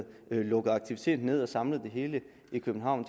lukke aktiviteten ned og samlet det hele i københavn